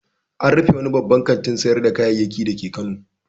An rufe wani babban kantin sayar da kayayyaki dake Kano.